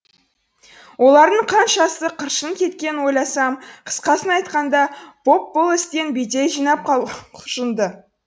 олардың қаншасы қыршын кеткенін ойласам қысқасын айтқанда поп бұл істен бедел жинап құлшынды